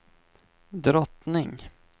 drottning